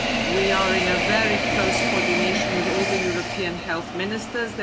We are in very close coordination with all the European health ministers.